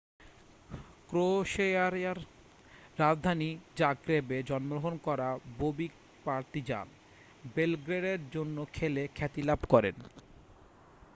ক্রোয়েশিয়ার রাজধানী জাগ্রেব-এ জন্মগ্রহণ করা বোবিক পার্তিজান বেলগ্রেডের জন্য খেলে খ্যাতিলাভ করেন